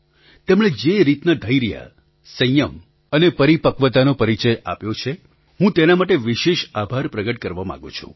તેમણે જે રીતના ધૈર્ય સંયમ અને પરિપક્વતાનો પરિચય આપ્યો છે હું તેના માટે વિશેષ આભાર પ્રગટ કરવા માગું છું